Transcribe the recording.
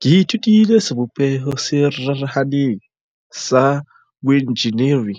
Ke ithutile sebopeho se rarahaneng sa boenjeneri